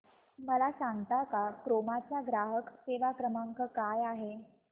मला सांगता का क्रोमा चा ग्राहक सेवा क्रमांक काय आहे